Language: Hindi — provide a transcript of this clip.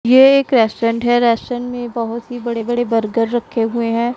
ये एक रेस्टोरेंट है रेस्टोरेंट में बहोत ही बड़े बड़े बर्गर रखे हुए हैं।